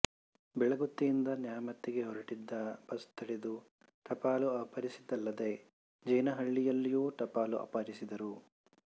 ಬೆಳಗುತ್ತಿಯಿಂದ ನ್ಯಾಮತಿಗೆ ಹೊರಟಿದ್ದ ಬಸ್ ತಡೆದು ಟಪಾಲು ಅಪಹರಿಸಿದ್ದಲ್ಲದೆ ಜೀನಹಳ್ಳಿಯಲ್ಲೂ ಟಪಾಲು ಅಪಹರಿಸಿದರು